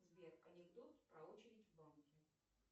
сбер анекдот про очередь в банке